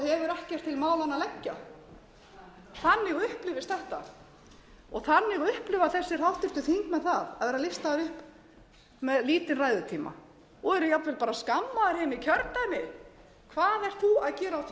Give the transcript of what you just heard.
til málanna að leggja þannig upplifist þetta og þannig upplifa þessir háttvirtir þingmenn það að vera listaðir upp með lítinn ræðutíma og eru jafnvel skammaðir heima í kjördæmi hvað ert þú að gera á þingi talar ekki neitt hefur ekkert að